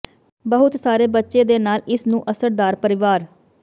ਬਹੁਤ ਸਾਰੇ ਬੱਚੇ ਦੇ ਨਾਲ ਇਸ ਨੂੰ ਅਸਰਦਾਰ ਪਰਿਵਾਰ